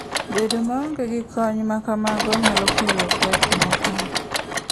Bedo maonge gi kony ma kamago nyalo kelo pek moko.